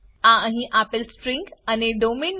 આ અહી આપેલી સ્ટ્રીંગ અને ડોમેઇન